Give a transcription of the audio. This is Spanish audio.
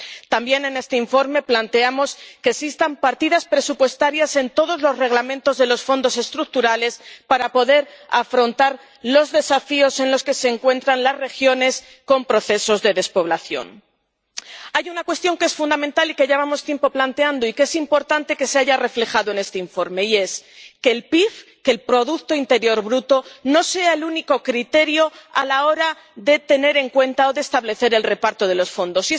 También en este informe planteamos que existan partidas presupuestarias en todos los Reglamentos de los Fondos Estructurales para poder afrontar los desafíos con los que se encuentran las regiones con procesos de despoblación. Hay una cuestión que es fundamental y que llevamos tiempo planteando, y que es importante que se haya reflejado en este informe, y es que el PIB, el producto interior bruto, no sea el único criterio a la hora de tener en cuenta o de establecer el reparto de los fondos.